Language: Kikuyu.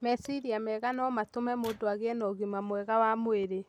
Meciria mega no matũme mũndũ agĩe na ũgima mwega wa mwĩrĩ.